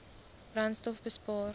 brandstofbespaar